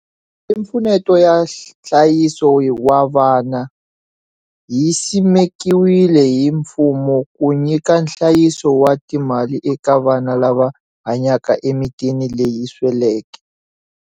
Malimpfuneto ya nhlayiso wa vana yi simekiwile hi mfumo ku nyika nhlayiso wa timali eka vana lava hanyaka emitini leyi sweleke.